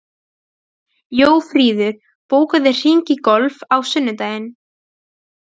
Jófríður, bókaðu hring í golf á sunnudaginn.